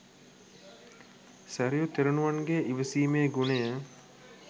සැරියුත් තෙරුණුවන්ගේ ඉවසීමේ ගුණය